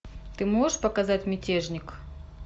ты можешь показать мятежник